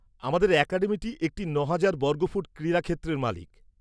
আমাদের অ্যাকাডেমি একটি নহাজার বর্গফুট ক্রীড়া ক্ষেত্রের মালিক।